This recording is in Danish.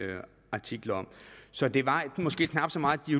artikler om så det var måske knap så meget de